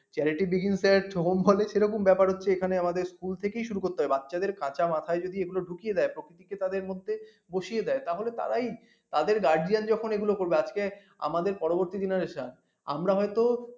charity begins এর সোহম বলে সেরকম ব্যাপার হচ্ছে এখানে আমাদের school থেকেই শুরু করতে হয় বাচ্চাদের কাঁচা মাথায় যদি এগুলো ঢুকিয়ে দেয় প্রকৃতি কে তাদের মধ্যে বসিয়ে দেয় তাহলে তারাই তাদের guardian যখন এগুলা করবে আজকে আমাদের পরবর্তী generation আমরা হয়ত